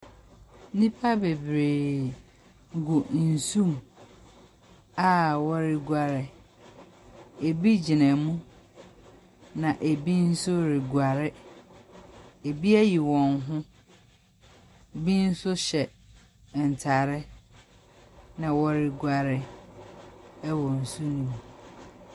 Nnipa bebree gu nsu mu a wɔreguare. Ebi gyina mu, na ebi nso reguare. Ebi ayi wɔn ho. Bi nso hyɛ ntare ɛna wɔreguare wɔ nsu no mu.